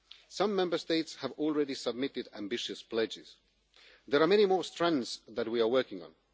Some Member States have already submitted ambitious pledges. There are many more strands that we are working